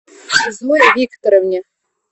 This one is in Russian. зое викторовне